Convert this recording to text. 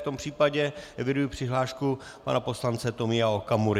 V tom případě eviduji přihlášku pana poslance Tomia Okamury.